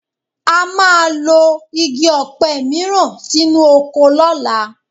A máa lọ́ igi ọ̀pẹ mìíràn sínú oko lọ́la